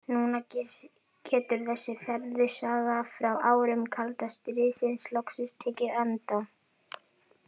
Núna getur þessi furðusaga frá árum kalda stríðsins loksins tekið enda.